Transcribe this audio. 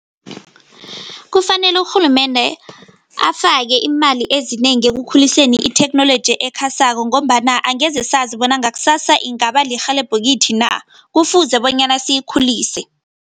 Kufanele urhulumende afake imali ezinengi ekukhuliseni itheknoloji ekhasako ngombana angeze sazi bona ngakusasa ingaba lirhelebho kithi na, kufuze bonyana siyikhulise.